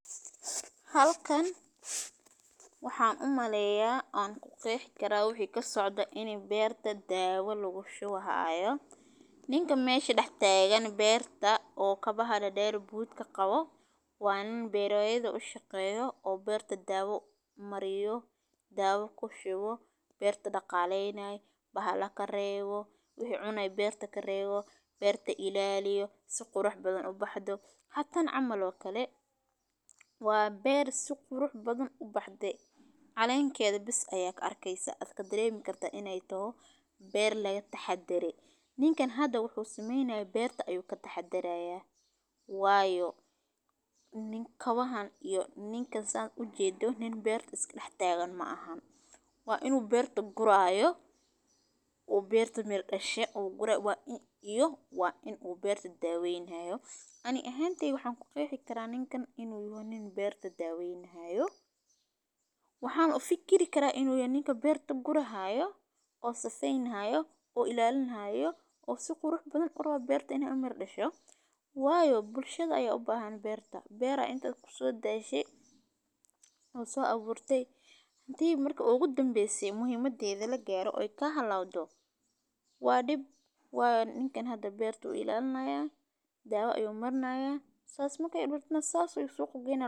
Halkan waxaan u maleyaa aan ku qeexi karaa wixii ka socda inay beerta daawo lagu shubahaayo. Nin ka meeshi dhaxteegan beerta oo ka bahaa dhadheer buudka qabo. Waan beeryahay u shaqeyo oo beerta daawo mariyo, daawo ku shubo, beertu dhaqaaleynaya, baha la karaygo, wixii cunay beerta kay raayo, beerta ilaaliyo, suku ruux badan u baxdo. Xatan camalo kale waa beer suq ruux badan u baxday. Calaaynkeedu bis ayag arkeysa adka dareem kartaa inay toh beernaga taxad daree. Niinkan hadda wuxuu sameynayo beerta ayuu ka taxad daraya. Waayo. Ka wahan iyo ninka saad u jeedo nin beerta iska dhaxteegan ma ahan. Waa inuu beerta gurahayo, uu beerta mar dhashay, uu gura wa i-iyo waa inuu beerta daaweynaya. Ani ahaanteey waxaan ku qeexi karaa ninkan inuu yimaado nin beerta daaweynaya. Waxaan u fikiri karaa inuu yimaado ninku beerta gurahayo, oo safeynaya, oo ilaalinaya, oo suku ruux badan uuna beerta inay u mar dhasho. Waayo bulshada ayaa u baahan beerta. Beera inta kusoo daayashay uu soo abuurtey. Hantii marka ugu danbeysay muhiimadii ayda la gaaro, oy ka hadlaa doon. Waa dhib, waan ninkan hadda beerta u ilaalinaya, daawo ayuu marnaaya. Saas makay urburtnaa saas u soo qobaynaa.